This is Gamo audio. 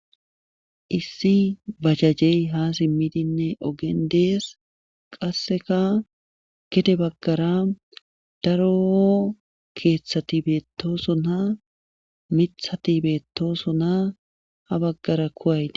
Issi bajajey ha simmidinne oogen dees qasseka gedde baggara daro keeththati beettoosona miththati beettosona ha baggara kuway dees